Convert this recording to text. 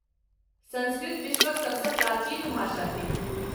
सँस्कृत विश्वक सबसँ प्राचीन भाषा थिक।